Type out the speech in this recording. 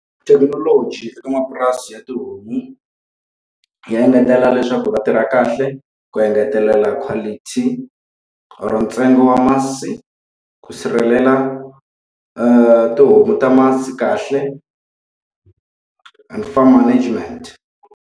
Thekinoloji eka mapurasi ya tihomu ya engetelela leswaku va tirha kahle, ku engetelela quality or ntsengo wa masi, ku sirhelela tihomu ta masi kahle and farm management.